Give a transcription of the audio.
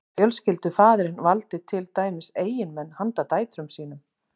Fjölskyldufaðirinn valdi til dæmis eiginmenn handa dætrum sínum.